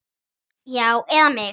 Já, eða mig?